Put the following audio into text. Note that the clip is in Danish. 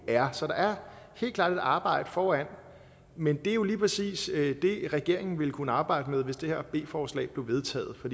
er så der er helt klart et arbejde foran men det er jo lige præcis det regeringen ville kunne arbejde med hvis det her b forslag blev vedtaget og